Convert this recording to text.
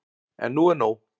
En nú er nóg!